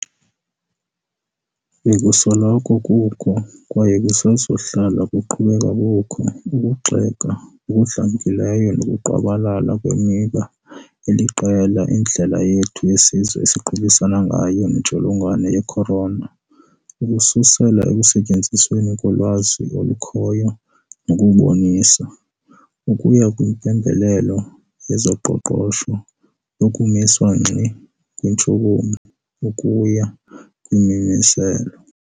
Bekusoloko kukho, kwaye kusezakuhlala kuqhubeka kukho, ukugxeka okudlamkileyo nokungqwabalala kwemiba eliqela endlela yethu yesizwe esiqubisana ngayo nentsholongwane ye-corona, ukususela ekusetyenzisweni kolwazi olukhoyo nokubonisa, ukuya kwimpembelelo yezoqoqosho lokumiswa ngxi kweentshukumo, ukuya kwimimiselo.